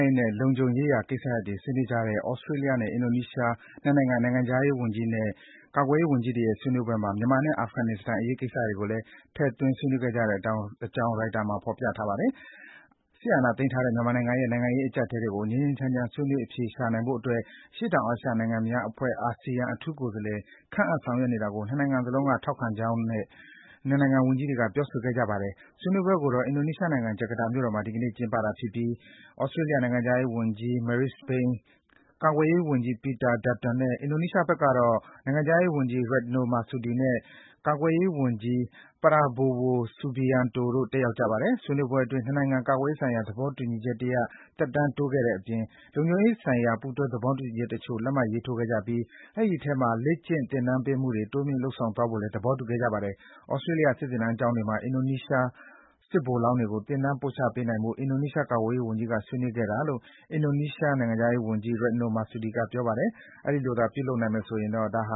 းရေးနဲ့ လုံခြုံရေးရာကိစ္စရပ်တွေ ဆွေးနွေးကြတဲ့ သြစတြေးလျနဲ့ အင်ဒိုနီးရှား နှစ်နိုင်ငံ နိုင်ငံခြားရေးနဲ့ ကာကွယ်ရေးဝန်ကြီးတွေရဲ့ ဆွေးနွေးပွဲမှာ မြန်မာနဲ့ အာဖဂန်နစ္စတန် အရေးကိစ္စတွေကိုလည်း ထည့်သွင်း ဆွေးနွေးခဲ့ကြတဲ့အကြောင်း ရိုက်တာသတင်းမှာ ဖော်ပြထားပါတယ်။ စစ်အာဏာသိမ်းထားတဲ့ မြန်မာနိုင်ငံရဲ့ နိုင်ငံရေးအကျပ်အတည်းတွေကို ငြိမ်းငြိမ်းချမ်းချမ်း ဆွေးနွေး အဖြေရှာနိုင်ဖို့အတွက် အရှေ့တောင်အာရှနိုင်ငံများအဖွဲ့ (ASEAN) အထူးကိုယ်စားလှယ် ခန့်အပ် ဆောင်ရွက်နေတာတွေကို နှစ်နိုင်ငံစလုံးက ထောက်ခံတဲ့အကြောင်း နှစ်နိုင်ငံ ဝန်ကြီးတွေက ပြောဆိုခဲ့ကြပါတယ်။ ဆွေးနွေးပွဲကိုတော့ အင်ဒိုနီးရှားနိုင်ငံ ဂျကာတာမြို့တော်မှာ ဒီကနေ့ ကျင်းပတာဖြစ်ပြီး သြစတြေးလျ နိုင်ငံခြားရေးဝန်ကြီး Marise Payne ၊ ကာကွယ်ရေးဝန်ကြီး Peter Dutton နဲ့ အင်ဒိုနီးရှားဘက်ကတော့ နိုင်ငံခြားရေးဝန်ကြီး Retno Marsudi နဲ့ ကာကွယ်ရေးဝန်ကြီး Prabowo Subianto တို့ တက်ရောက်ကြတာပါ။ ဆွေးနွေးပွဲအတွင်း နှစ်နိုင်ငံ ကာကွယ်ရေးဆိုင်ရာ သဘောတူညီချက်တရပ် သက်တမ်းတိုးခဲ့ကြတဲ့အပြင် လုံခြုံရေးဆိုင်ရာ ပူးတွဲ သဘောတူညီချက်တချို့ လက်မှတ်ရေးထိုးခဲ့ကြပြီး ဒီအထဲမှာ လေ့ကျင့် သင်တန်းပေးမှုတွေ တိုးမြှင့်လုပ်ဆောင်သွားဖို့လည်း သဘောတူခဲ့ကြပါတယ်။ သြစတြေးလျ စစ်သင်တန်းကျောင်းတွေမှာ အင်ဒိုနီးရှား စစ်ဗိုလ်လောင်းတွေကို သင်တန်းပို့ချပေးနိုင်ဖို့ အင်ဒိုနီးရှား ကာကွယ်ရေးဝန်ကြီးက ဆွေးနွေးခဲ့တယ်လို့ အင်ဒိုနီးရှားနိုင်ငံခြားရေးဝန်ကြီး Retno Marsudi က ပြောပါတယ်။ ဒီဆွေးနွေးမှုအတိုင်း ဖြစ်လာရင်တော့ ဒါဟ